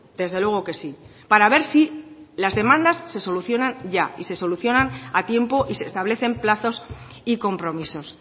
desde luego que sí para ver si las demandas se solucionan ya y se solucionan a tiempo y se establecen plazos y compromisos